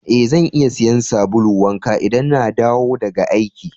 Eh, zan iya siya sabulu wanka idan n'na dawo daga aiki.